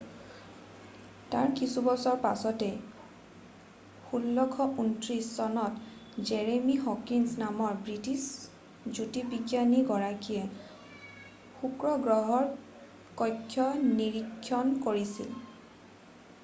তাৰ কিছুবছৰ পিছতে 1639 চনত জেৰেমি হৰক্স নামৰ ব্ৰিটিছ জ্যোতিৰ্বিজ্ঞানী গৰাকীয়ে শুক্ৰ গ্ৰহৰ কক্ষ নিৰীক্ষণ কৰিছিল